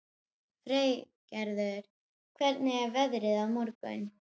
Freygarður, hvernig er veðrið á morgun?